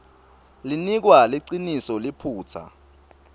linikwa liciniso liphutsa